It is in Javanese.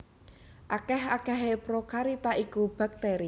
Akèh akèhé prokariota iku baktèri